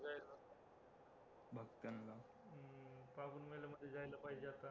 जायला पाहिजे आता